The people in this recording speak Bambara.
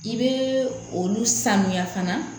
I bɛ olu sanuya fana